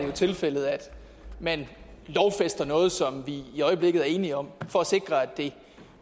jo tilfældet at man lovfæster noget som vi i øjeblikket er enige om for at sikre at det